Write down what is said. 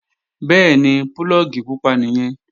Bẹ́ẹ̀ni, púlọ̀gì pupa nìyẹn